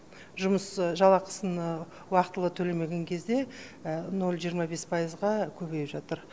жұмыс жалақысын уақытылы төлемеген кезде ноль жиырма бес пайызға көбейіп жатыр